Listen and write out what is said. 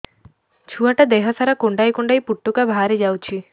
ଛୁଆ ଟା ଦେହ ସାରା କୁଣ୍ଡାଇ କୁଣ୍ଡାଇ ପୁଟୁକା ବାହାରି ଯାଉଛି